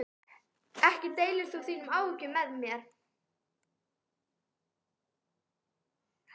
Ekki deilir þú þínum áhyggjum með mér.